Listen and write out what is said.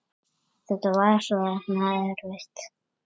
Gera þetta svona erfitt.